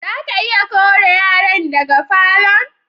Za ka iya kore yaran daga falo'n?